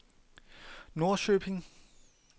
Norrköping